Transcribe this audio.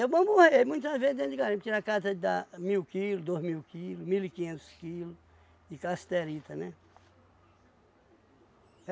É bom, muitas vezes, dentro de garimpo, tirar cata de dar mil quilos, dois mil quilo, mil e quinhentos quilo de cassiterita, né?